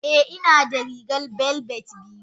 Eh inada rigar velvet biyu.